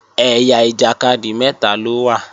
Ẹ̀yà ìjàkadì mẹ́ta ló wà